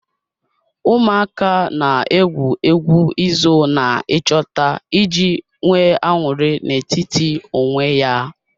Ụmụaka na-egwu egwu izo na ịchọta iji nwee aṅụrị na-etiti onwe ya.